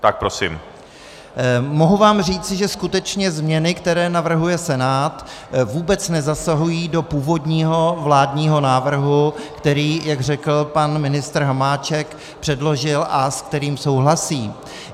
Mohu vám říci, že skutečně změny, které navrhuje Senát, vůbec nezasahují do původního vládního návrhu, který, jak řekl pan ministr Hamáček, předložil a se kterým souhlasí.